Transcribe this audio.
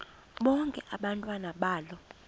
bonke abantwana balo